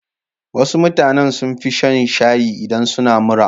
Wasu mutanen sun fi shan shayi idan suna mura.